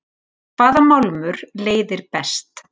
Hvaða málmur leiðir best?